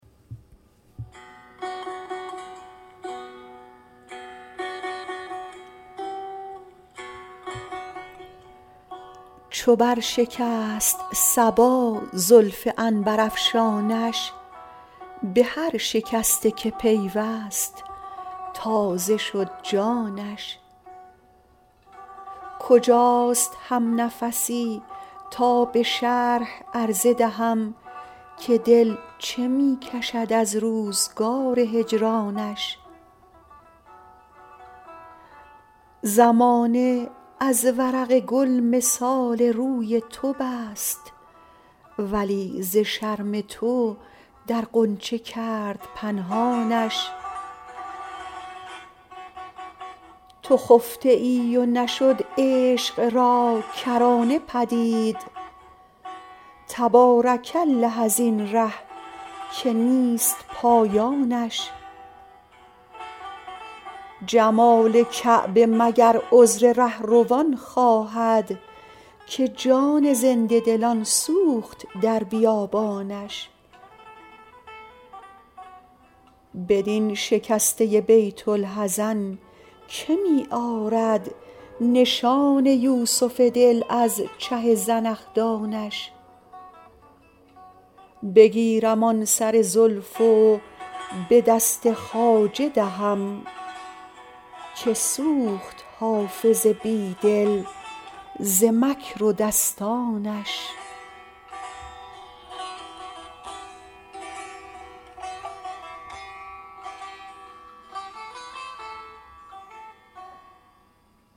چو بر شکست صبا زلف عنبرافشانش به هر شکسته که پیوست تازه شد جانش کجاست همنفسی تا به شرح عرضه دهم که دل چه می کشد از روزگار هجرانش زمانه از ورق گل مثال روی تو بست ولی ز شرم تو در غنچه کرد پنهانش تو خفته ای و نشد عشق را کرانه پدید تبارک الله از این ره که نیست پایانش جمال کعبه مگر عذر رهروان خواهد که جان زنده دلان سوخت در بیابانش بدین شکسته بیت الحزن که می آرد نشان یوسف دل از چه زنخدانش بگیرم آن سر زلف و به دست خواجه دهم که سوخت حافظ بی دل ز مکر و دستانش